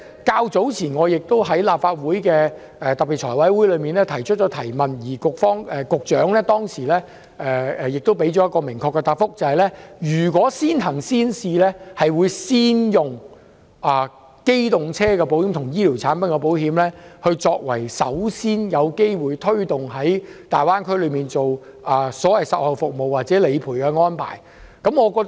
較早前，我亦在立法會財務委員會特別會議上提出質詢，局長當時給予一個明確的答覆，表示如推行先行先試，會先以機動車保險和醫療產品保險，作為最先有機會在大灣區落實所謂售後服務或理賠安排的對象。